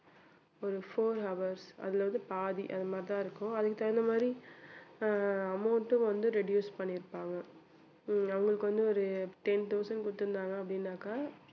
ஒரு four hours அல்லது பாதி அதுமாதிரி தான் இருக்கும். அதுக்கு தகுந்த மாதிரி அஹ் amount வந்து reduce பண்ணிருப்பாங்க அவங்களுக்கு வந்து ஒரு ten thousand குடுத்துருந்தாங்க அப்படின்னாக்க